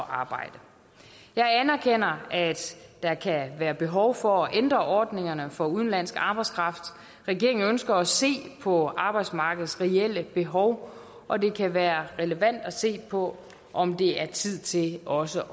arbejde jeg anerkender at der kan være behov for at ændre ordningerne for udenlandsk arbejdskraft regeringen ønsker at se på arbejdsmarkedets reelle behov og det kan være relevant at se på om det er tid til også